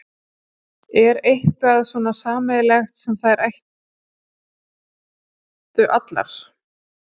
Er eitthvað svona sameiginlegt sem þær áttu allar?